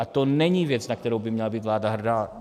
A to není věc, na kterou by měla být vláda hrdá.